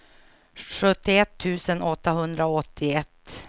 sjuttioett tusen åttahundraåttioett